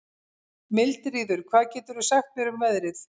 Mildríður, hvað geturðu sagt mér um veðrið?